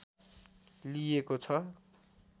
लिएको छ